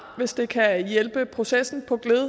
hvis det kan hjælpe processen på gled